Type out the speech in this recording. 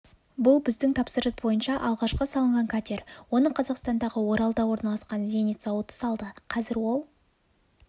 бұл біздің тапсырыс бойынша алғашқы салынған катер оны қазақстандағы оралда орналасқан зенит зауыты салды қазір ол